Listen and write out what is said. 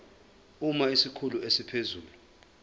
uma isikhulu esiphezulu